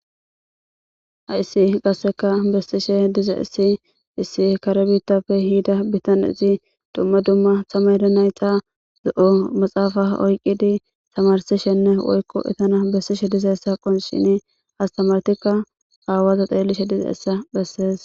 Haysi qasseka bessishe diza issi issi kare bittapfe hiida bitanezi dumma dumma samade nayxa zo7o maxaafa oyqqidi tamarsishenne woykko etana bessishe dizayssa qon shini astamartikka aawaza xeellishe diza essa bessees